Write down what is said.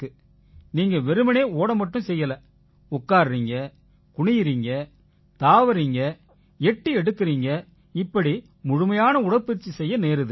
நீங்க வெறுமனே ஓட மட்டும் செய்யலை உட்கார்றீங்க குனியறீங்க தாவறீங்க எட்டி எடுக்கறீங்க இப்படி முழுமையான உடற்பயிற்சி செய்ய நேருது